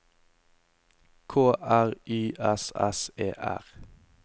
K R Y S S E R